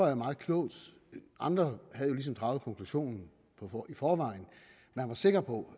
er meget klogt andre havde ligesom draget konklusionen i forvejen man var sikker på